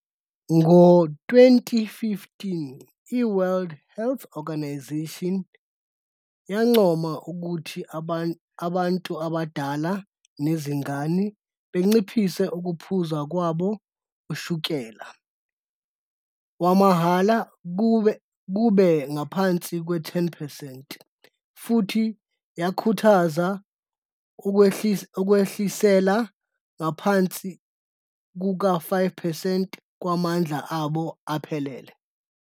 Ngo-2015, i-World Health Organisation yancoma ukuthi abantu abadala nezingane banciphise ukuphuza kwabo ushukela wamahhala kube ngaphansi kuka-10 percent, futhi yakhuthaza ukwehliselwa ngaphansi kuka-5 percent, kwamandla abo aphelele.